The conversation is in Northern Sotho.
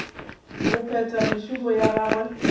go phetha mešomo ya gagwe